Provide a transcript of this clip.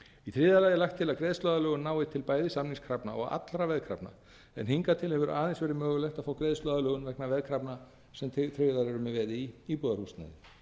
í þriðja lagi er lagt til að greiðsluaðlögun nái til bæði samningskrafna og allra veðkrafna en hingað til hefur aðeins verið mögulegt að fá greiðsluaðlögun vegna veðkrafna sem tryggðar eru með veði í íbúðarhúsnæði